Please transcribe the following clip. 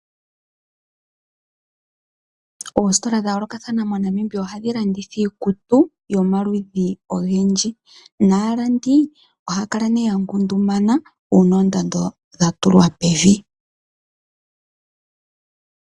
Oositola dha yoolokathana moNamibia ohadhi lnditha iikutu yomaludhi ogendji naalandi ohaya kala ya ngundumana uuna oondando dha tuwa pevi.